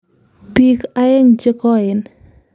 Piik aeng' che koen.